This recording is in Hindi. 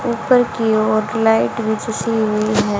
ऊपर की ओर लाइट भी जसी हुई है।